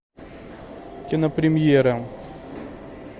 кинопремьера